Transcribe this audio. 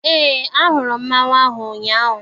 Eé, ahụrụ m mmanwụ ahụ ụnyaahụ.